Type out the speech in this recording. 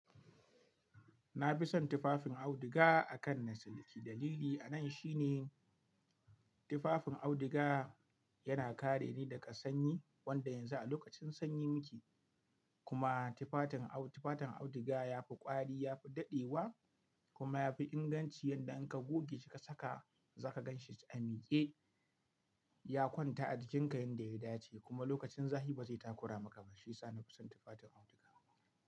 Na fi son tufafin auduga akan na siliki. Dalili a nan shine tufafin auduga yana kare ni daga sanyi, wanda yanzu a lokacin sanyi muke. Kuma tufafin, tufafin auduga yafi kwari, yafi daddewa kuma yafi inganci yadda in ka goge shi kila saka zaka gan shi a mike. Ya kwanta a jinkai yadda ya dace kuma lokacin zafi bazai takura maka ba, shi yasa nafi son tufafin auduga.